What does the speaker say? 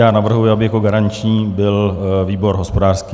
Já navrhuji, aby jako garanční byl výbor hospodářský.